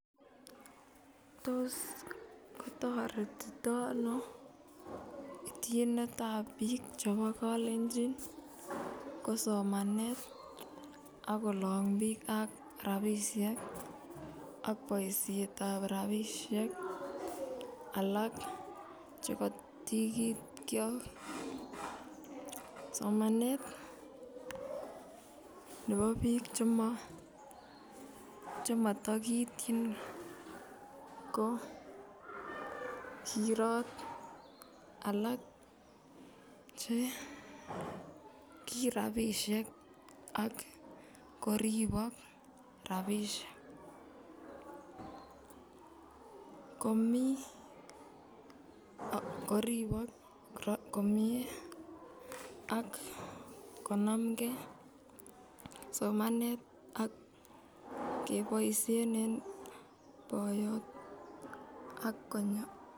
Tos kitoretitono ityinet ab biik chebo kalenjin kosomane ak kolongunen biik ak rapisiek ak boisietab rapisiek alak chekotikiyot sigikyok somanet nebo biik chemotikiityin ko kiroo alak kirapisiek ak koribok rapisiek komi ak koribok komie ak konamngei somanet ak keboisien en boiyot ak konyon